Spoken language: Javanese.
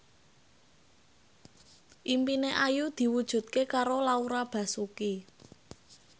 impine Ayu diwujudke karo Laura Basuki